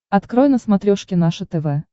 открой на смотрешке наше тв